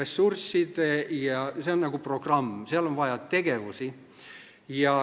See on nagu programm, seal on vaja tegevusi.